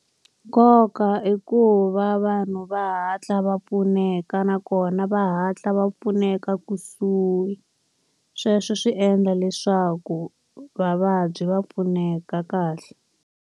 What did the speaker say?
Nkoka i ku va vanhu va hatla va pfuneka nakona va hatla va pfuneka kusuhi. Sweswo swi endla leswaku vavabyi va pfuneka kahle.